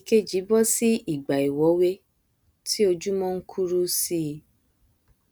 ìkejì bọsí ìgbà ìwọwé tí ojúmọ nkuru síi